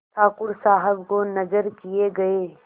ठाकुर साहब को नजर किये गये